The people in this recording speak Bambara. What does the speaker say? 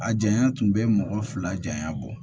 A janya tun bɛ mɔgɔ fila janya bɔ